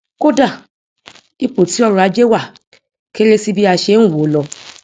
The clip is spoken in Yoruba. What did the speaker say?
kódàà ipò tí ọrọ̀ ajé wà kéré sí bí a ṣé n wòó lọ.